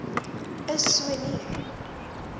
is so nie